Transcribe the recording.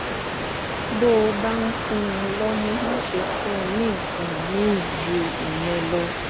bó o bá ń fún un lọ́mú máṣe fún un ní nǹkan míì ju ìyẹn lọ